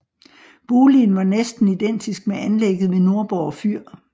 Boligen var næsten identisk med anlægget ved Nordborg Fyr